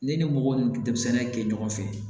N'i ni mɔgɔ ni denmisɛnnin ye kɛ ɲɔgɔn fɛ